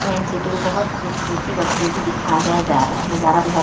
main city को बहुत खूबसूरती बखूबी दिखाया जा रहा है नजारा बहुत --